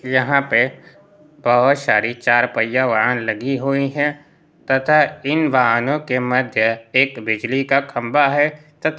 यहाँ पे बहोत सारी चार पहिया वाहन लागि हुई है तथा इन वाहनों के मध्य एक बिजली का खंबा है। त--